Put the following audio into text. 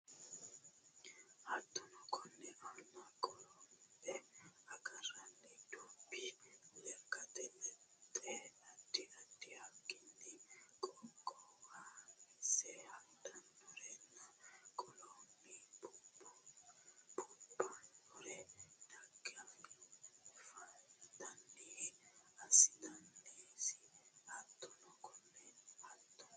Hattono konni aana qorombe agarroonni dubbi lekkate lexxe addi addi haqqenni qoqqowamasi hadhannorinna qoolunni buubbannori dhaggeeffantanniha assitannosi Hattono konni Hattono.